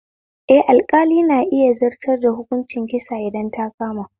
Eh, alƙali na iya zartar da hukuncin kisa idan ta kama